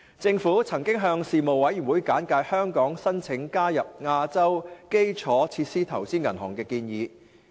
政府曾向事務委員會簡介香港申請加入亞洲基礎設施投資銀行的建議。